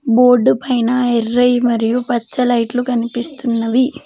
బోర్డుపైన ఎర్రయి మరియు పచ్చ లైట్లు కనిపిస్తున్నవి.